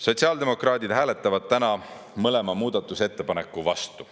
Sotsiaaldemokraadid hääletavad täna mõlema muudatusettepaneku vastu.